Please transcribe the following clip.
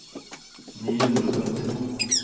ni hundre og femtito